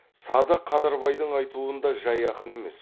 садық қадырбайдың айтуында жай ақын емес